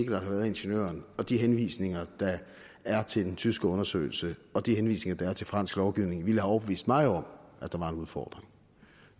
har været i ingeniøren de henvisninger der er til den tyske undersøgelse og de henvisninger der er til fransk lovgivning ville have overbevist mig om at der var en udfordring